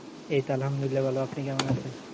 এইতো আল্লাহামদুল্লিলাহ ভালো আপনি কেমন আছেন